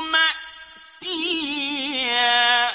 مَأْتِيًّا